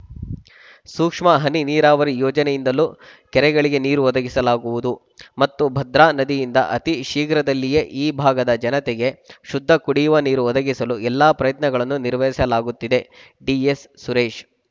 ಸೂಕ್ಷ್ಮ ಹನಿ ನೀರಾವರಿ ಯೋಜನೆಯಿಂದಲೂ ಕೆರೆಗಳಿಗೆ ನೀರು ಒದಗಿಸಲಾಗುವುದು ಮತ್ತು ಭದ್ರಾ ನದಿಯಿಂದ ಅತಿ ಶೀಘ್ರದಲ್ಲಿಯೇ ಈ ಭಾಗದ ಜನತೆಗೆ ಶುದ್ಧ ಕುಡಿಯುವ ನೀರು ಒದಗಿಸಲು ಎಲ್ಲ ಪ್ರಯತ್ನಗಳನ್ನು ನಿರ್ವಹಿಸಲಾಗುತ್ತಿದೆ ಡಿಎಸ್‌ಸುರೇಶ್‌